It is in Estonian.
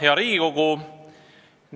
Hea Riigikogu!